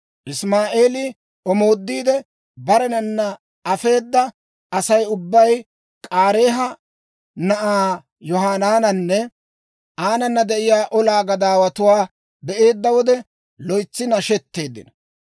Isimaa'eeli omoodiide barenanna afeeda Asay ubbay K'aareeha na'aa Yohanaananne aanana de'iyaa olaa gadaawatuwaa be'eedda wode, loytsi nashetteeddino.